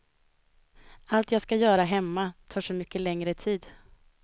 Allt jag ska göra hemma tar så mycket längre tid.